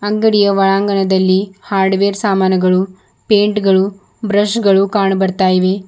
ಅಂಗಡಿಯ ಒಳಾಂಗಣದಲ್ಲಿ ಹಾರ್ಡ್ವೇರ್ ಸಾಮಾನುಗಳು ಪೈಂಟ್ ಗಳು ಬ್ರಷ್ ಗಳು ಕಾಣು ಬರ್ತಾ ಇವೆ.